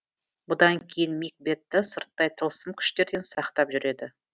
бұдан кейін мик бетты сырттай тылсым күштерден сақтап жүреді